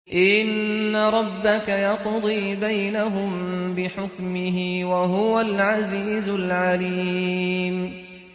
إِنَّ رَبَّكَ يَقْضِي بَيْنَهُم بِحُكْمِهِ ۚ وَهُوَ الْعَزِيزُ الْعَلِيمُ